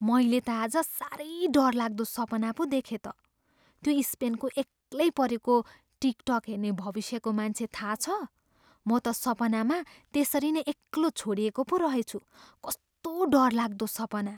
मैले त आज साह्रै डरलाग्दो सपना पो देखेँ त! त्यो स्पेनको एक्लै परेको टिकटक हेर्ने भविष्यको मान्छे थाहा छ? म त सपनामा त्यसरी नै एक्लो छोडिएको पो रहेछु। कस्तो डरलाग्दो सपना!